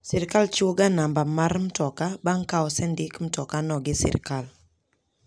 Sirkal chiwo ga numba mar mtoka bang' ka osendik mtokano gi sirkal.